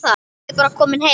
Ég er bara kominn heim.